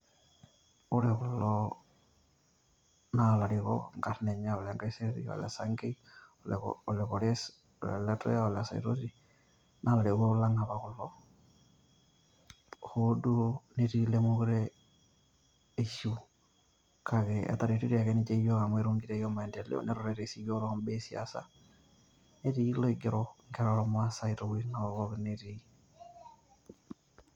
ore kulo naa ilarikok, inkarn enye ole nkaiserry, ole sankei, ole kores, ole letuya, ole saitoti. naa ilarikoko lang apa kulo, hoo duo netii ilemeekure eishiu, kake etareto ake ninche yiook amu etuutatie maendeleo netutatitie sii iyiook too mbaa esiasa. netii olaigero nkera ormaasae te wuejitin pookin netii.